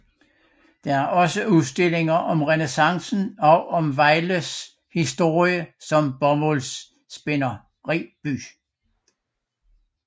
Der er også udstillinger om renæssancen og om Vejles historie som bomuldsspinderiby